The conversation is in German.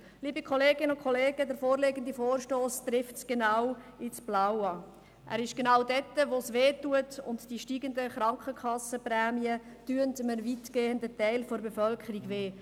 Liebe Kolleginnen und Kollegen, der vorliegende Vorstoss trifft genau ins Blaue, genau dort, wo es weh tut, und die steigenden Krankenkassenprämien tun weitgehend einem Teil der Bevölkerung weh.